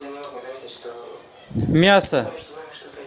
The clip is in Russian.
мясо